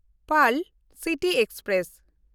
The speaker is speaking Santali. pearl city express